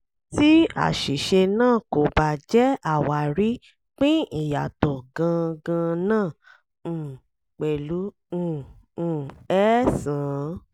tí àṣìṣe náà kò bá jẹ́ àwarí pín ìyàtọ̀ gan gan náà um pẹ̀lú um um eẹ́sàn-án.